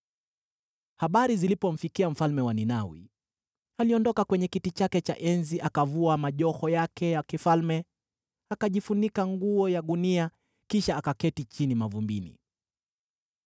Habari zilipomfikia mfalme wa Ninawi, aliondoka kwenye kiti chake cha enzi, akavua majoho yake ya kifalme, akajifunika nguo ya gunia kisha akaketi chini mavumbini.